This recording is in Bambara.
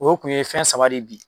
O kun ye fɛn saba de bi.